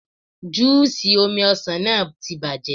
Júù ṣì omi ọsàn náà ti bàjẹ́.